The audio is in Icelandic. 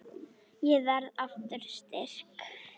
Ég verð aftur styrk.